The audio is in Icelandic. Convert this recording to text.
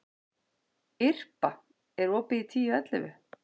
Irpa, er opið í Tíu ellefu?